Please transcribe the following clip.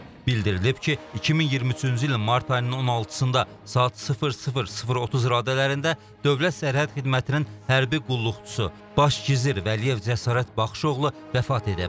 Bildirilib ki, 2023-cü ilin mart ayının 16-da saat 00:30 radələrində Dövlət Sərhəd Xidmətinin hərbi qulluqçusu, baş gizir Vəliyev Cəsarət Baxışoğlu vəfat edib.